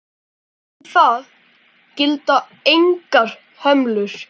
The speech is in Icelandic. Eftir það gilda engar hömlur.